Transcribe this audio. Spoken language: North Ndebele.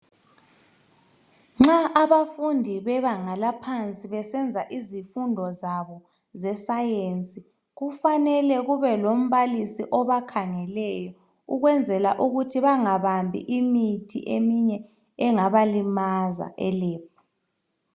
Nxa abafundi bebanga laphansi besenza izifundo zabo ze science kufanele kube lombalisi obakhangeleyo ukwenzela ukuthi bangabambi imithi eminye engabalimaza e lab.